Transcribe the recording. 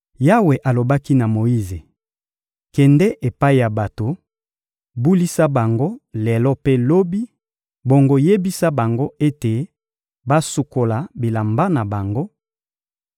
Yawe alobaki na Moyize: — Kende epai ya bato, bulisa bango lelo mpe lobi, bongo yebisa bango ete basukola bilamba na bango;